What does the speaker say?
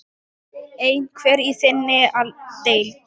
Einhver í þinni deild?